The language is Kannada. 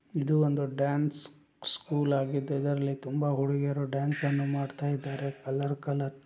ಇದು ಒಂದು ಡ್ಯಾನ್ಸ್ ಸ್ಕೂಲ್ ಆಗಿದ್ದು ಇದರಲ್ಲಿ ತುಂಬ ಹುಡುಗಿಯರು ಡ್ಯಾನ್ಸ್ ಅನ್ನು ಮಾಡ್ತ ಇದಾರೆ ಕಲರ್ ಕಲರ್ --